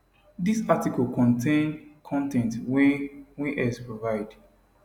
dis article contain con ten t wey wey x provide